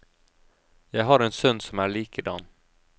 Jeg har en sønn som er likedan.